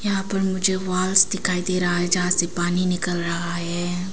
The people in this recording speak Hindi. यहां पर मुझे वाल्स दिखाई दे रहा है जहां से पानी निकल रहा है।